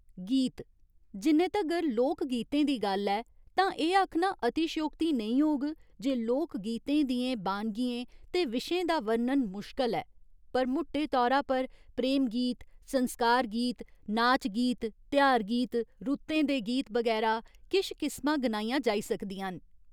गीत, जिन्ने तगर लोक गीतें दी गल्ल ऐ तां एह् आखना अतिश्योक्ति नेईं होग जे लोकगीतें दियें बानगियें ते विशें दा वर्णन मुश्कल ऐ, पर मुट्टे तौरा पर प्रेम गीत, संस्कार गीत, नाच गीत, तेहार गीत, रुत्तें दे गीत बगैरा किश किस्मां गनाइयां जाई सकदियां न।